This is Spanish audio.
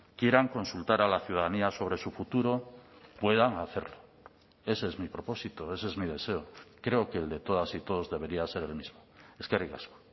quieran consultar a la ciudadanía sobre su futuro puedan hacerlo ese es mi propósito ese es mi deseo creo que el de todas y todos debería ser el mismo eskerrik asko